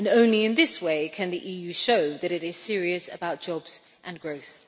Only in this way can the EU show that it is serious about jobs and growth.